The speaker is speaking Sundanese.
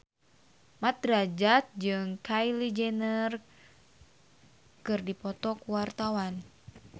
Mat Drajat jeung Kylie Jenner keur dipoto ku wartawan